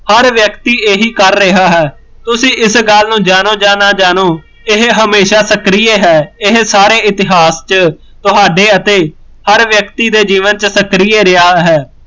ਹਰ ਵਿਅਕਤੀ ਇਹੀ ਕਰ ਰਿਹਾ ਹੈ ਤੁਸੀਂ ਇਸ ਗੱਲ ਨੂੰ ਜਾਣੋ ਜਾਂ ਨਾ ਜਾਣੋ, ਇਹ ਹਮੇਸ਼ਾ ਸਕ੍ਰਿਏ ਹੈ, ਇਹ ਸਾਰੇ ਇਤਿਹਾਸ ਚ ਤੁਹਾਡੇ ਅਤੇ ਹਰ ਵਿਅਕਤੀ ਦੇ ਜੀਵਨ ਚ ਸਕ੍ਰਿਏ ਰਿਹਾ ਹੈ